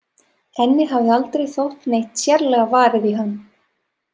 Henni hafði aldrei þótt neitt sérlega varið í hann.